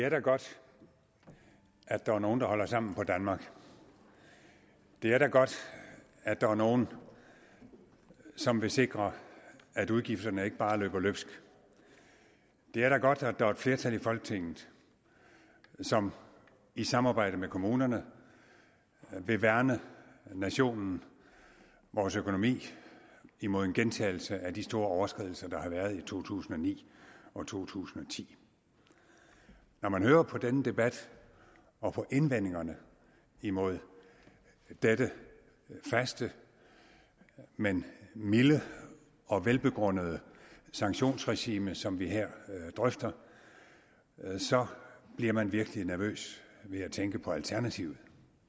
er da godt at der er nogle der holder sammen på danmark det er da godt at der er nogle som vil sikre at udgifterne ikke bare løber løbsk det er da godt at der er et flertal i folketinget som i samarbejde med kommunerne vil værne nationen og vores økonomi imod en gentagelse af de store overskridelser der har været i to tusind og ni og to tusind og ti når man hører på denne debat og på indvendingerne imod dette faste men milde og velbegrundede sanktionsregime som vi her drøfter bliver man virkelig nervøs ved at tænke på alternativet